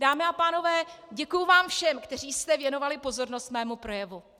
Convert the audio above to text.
Dámy a pánové, děkuji vám všem, kteří jste věnovali pozornost mému projevu.